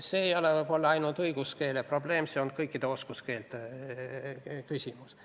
See ei ole ainult õiguskeele probleem, see on kõikide oskuskeelte küsimus.